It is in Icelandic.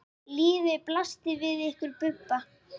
Lífið blasti við ykkur Bubba.